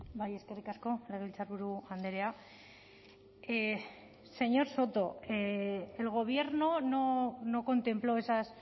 bai eskerrik asko legebiltzarburu andrea señor soto el gobierno no contempló esas